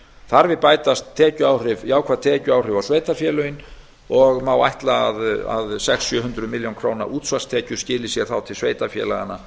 þar við bætast jákvæð tekjuáhrif á sveitarfélögin og má ætla að sex hundruð til sjö hundruð milljóna króna útsvarstekjur skili sér þá til sveitarfélaganna